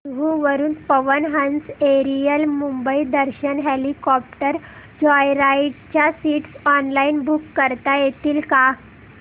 जुहू वरून Pawan Hans aerial Mumbai Darshan helicopter joyride च्या seats online book करता येतील का